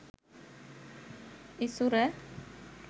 isura